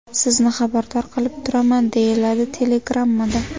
Sizni xabardor qilib turaman”, deyiladi telegrammada.